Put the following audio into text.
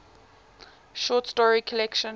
short story collection